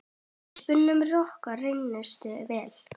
Við spuna rokkur reynist vel.